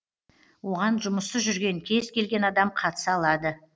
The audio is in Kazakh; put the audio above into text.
оған жұмыссыз жүрген кез келген адам қатыса алады